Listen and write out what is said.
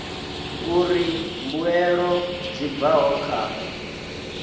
uri mbuelo dzi bvaho kha